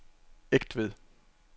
Egtved